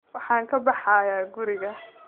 Waxaan ka baxayaa guriga